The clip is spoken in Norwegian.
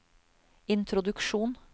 introduksjon